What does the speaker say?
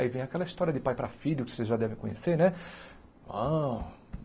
Aí vem aquela história de pai para filho que vocês já devem conhecer, né?